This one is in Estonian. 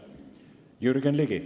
Jürgen Ligi.